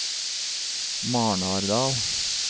Marnardal